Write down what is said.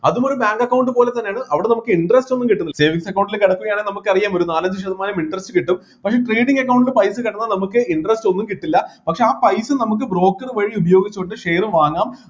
അതും ഒരു bank account പോലെത്തന്നെയാണ് അവിടെ നമ്മക്ക് interest ഒന്നും കിട്ടുന്നില്ല savings account ൽ കിടക്കുകയാണെ നമുക്ക് അറിയാം ഒരു നാലഞ്ച് ശതമാനം interest കിട്ടും പക്ഷെ trading account ൽ പൈസ കിടന്നാൽ നമുക്ക് interest ഒന്നും കിട്ടില്ല പക്ഷെ ആ പൈസ നമുക്ക് broker വഴി ഉപയോഗിച്ചുകൊണ്ട് share വാങ്ങാം